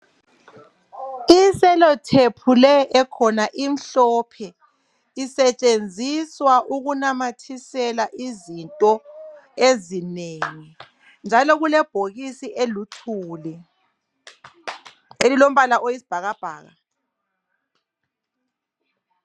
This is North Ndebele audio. I cellotape le ekhona imhlophe isetshenziswa ukunamathisela izinto ezinengi njalo kulebhokisi eliluthuli elilombala oyisibhakabhaka.